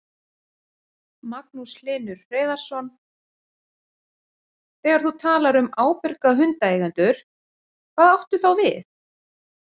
Magnús Hlynur Hreiðarsson: Þegar þú talar um ábyrga hundeigendur, hvað áttu þá við?